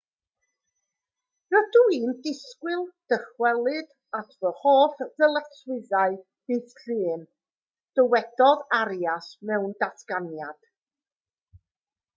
rydw i'n disgwyl dychwelyd at fy holl ddyletswyddau ddydd llun dywedodd arias mewn datganiad